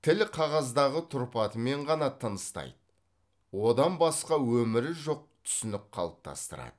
тіл қағаздағы тұрпатымен ғана тыныстайды одан басқа өмірі жоқ түсінік қалыптастырады